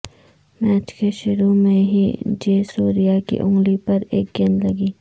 match کے شروع میں ہی جے سوریا کی انگلی پر ایک گیند لگی